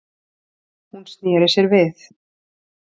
Hún sneri sér við.